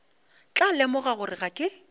tla lemoga gore ga ke